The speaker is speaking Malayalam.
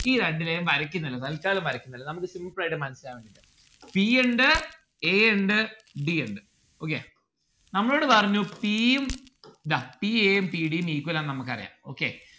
ഈ രണ്ട് line വരക്കിനില്ല തൽക്കാലം വരക്കിനില്ല നമ്മുക്ക് simple ആയിട്ട് മനസ്സിലാവുന്നില്ല p ഇണ്ട് a ഇണ്ട് d ഇണ്ട് okay നമ്മളോട് പറഞ്ഞു p ഉം ദ p a ഉം p d ഉം equal ആണ് നമ്മുക്ക് അറിയാം okay